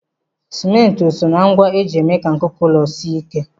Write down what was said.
Simenti o soo na ngwa eji eme ka nkuku ụlọ sie ike?